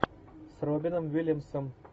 с робином уильямсом